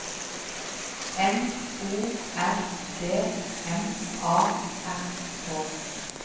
N O R D M A R K